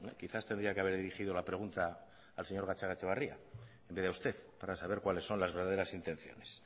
quizás tendría que haber dirigido la pregunta al señor gatzagaetxebarria en vez de a usted para saber cuáles son las verdaderas intenciones